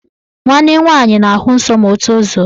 Nwanne nwaanyị na-ahụ nsọ ma o tozuo